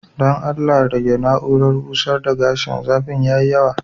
Dan Allah rege na urar busar da gashin, zafin ya yi yawa.